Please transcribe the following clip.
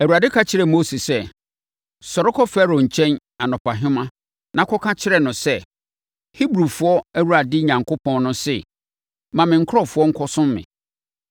Awurade ka kyerɛɛ Mose sɛ, “Sɔre kɔ Farao nkyɛn anɔpahema na kɔka kyerɛ no sɛ, Hebrifoɔ Awurade Onyankopɔn no se, ma me nkurɔfoɔ nkɔsom me.